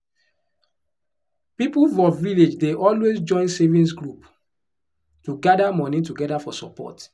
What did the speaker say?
people for village dey always join savings group to gather money together for support.